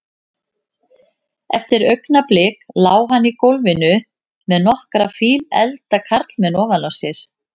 Eftir augnablik lá hann í gólfinu með nokkra fíleflda karlmenn ofan á sér.